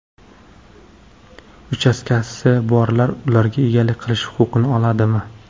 Uchastkasi borlar ularga egalik qilish huquqini oladimi?